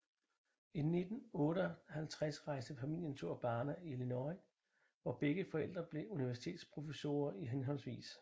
I 1958 rejste familien til Urbana i Illinois hvor begge forældre blev universitetsprofessorer i hhv